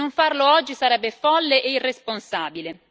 Non farlo oggi sarebbe folle e irresponsabile.